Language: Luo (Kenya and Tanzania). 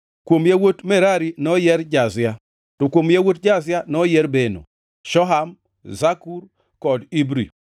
Kuom yawuot Merari: noyier Jazia: to kuom yawuot Jazia noyier Beno, Shoham, Zakur kod Ibri.